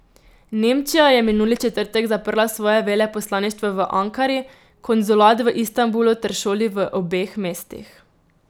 Nemčija je minuli četrtek zaprla svoje veleposlaništvo v Ankari, konzulat v Istanbulu ter šoli v obeh mestih.